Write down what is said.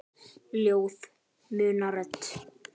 Ljóð muna rödd.